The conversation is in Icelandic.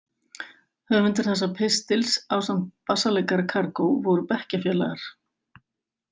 Höfundur þessa pistils, ásamt bassaleikara Kargó, voru bekkjarfélagar.